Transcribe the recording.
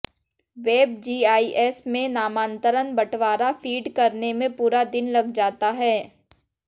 web GIS में नामांतरण बटवारा फीड करने में पूरा दिन लग जाता है